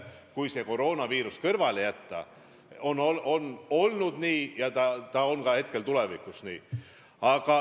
Kui koroonaviirus kõrvale jätta, on kõik sama ja jääb hetkeplaanide kohaselt ka tulevikus nii.